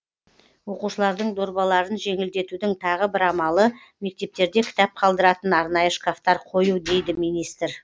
оқушылардың дорбаларын жеңілдетудің тағы бір амалы мектептерде кітап қалдыратын арнайы шкафтар қою дейді министр